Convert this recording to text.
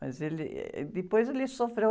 Mas ele, eh, depois ele sofreu.